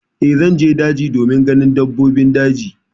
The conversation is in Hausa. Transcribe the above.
Eh, zan je daji domin ganin dabbobin daji.